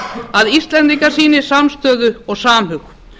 að íslendingar sýni samstöðu og samhug